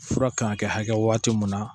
Fura kan ka kɛ hakɛ waati mun na